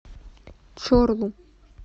чорлу